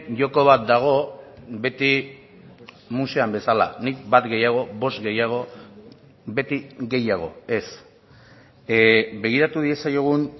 joko bat dago beti musean bezala nik bat gehiago bost gehiago beti gehiago ez begiratu diezaiogun